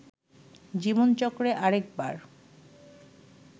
জীবনচক্রে আরেকবার